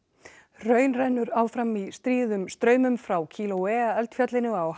hraun rennur áfram í stríðum straumum frá Kilauea eldfjallinu á